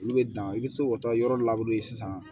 Olu bɛ dan i bɛ se k'o taa yɔrɔ sisan